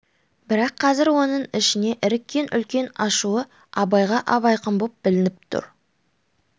бірақ қазір оның ішіне іріккен үлкен ашуы абайға ап-айқын боп білініп тұр